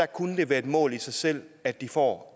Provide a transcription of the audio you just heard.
kunne det være et mål i sig selv at de får